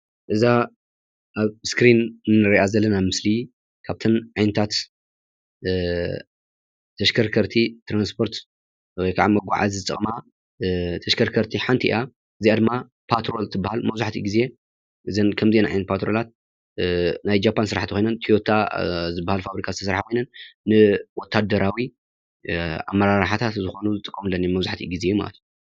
እዛ ኣብ እስክሪን እንሪኣ ዘለና ምስሊ ካብተን ዓይነታት ተሽከርከርቲ ትራንስፖርት ወይከዓ መጓዓዚ ዝጠቅማ ተሽከርከርቲ ሓንቲ እያ። እዚኣ ድማ ፓትሮል ትባሃል መብዛሕትኡ ግዜ እዘን ከምዚአን ዓይነታት ፓትሮላት ናይ ጃፓን ስራሕቲ ኮይነን ትዮታ ዝባሃል ፋብሪካ ዝተሰርሓ ኮይነን ንወተሃደራዊ ኣመራሓሕታት ዝኾኑ ዝጥቀሙለን እየን መብዛሕትኡ ግዜ ማለት እዩ።